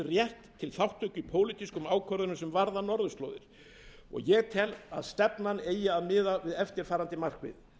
rétt til þátttöku í pólitískum ákvörðunum sem varða norðurslóðir ég tel að stefnan eigi að miðast við eftirfarandi markmið